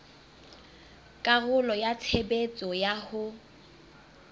karolo ya tshebetso ya ho